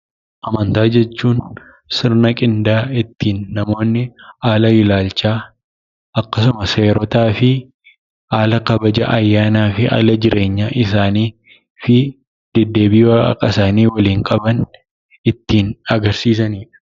Amantaa jechuun sirna qindaa'e ittiin namoonni haala ilaalchaa akkasuma seerotaa fi haala kabaja ayyaanaa fi haala jireenya isaanii fi deddeebii waaqasaanii waliin qaban ittiin agarsiisanidha.